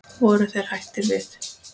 Voru þeir hættir við?